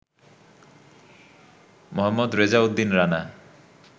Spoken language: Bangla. মোহাম্মদ রেজাউদ্দিন রানা